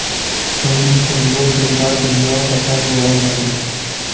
uning uchun bu dilbar dunyo vatan bo‘lolmaydi..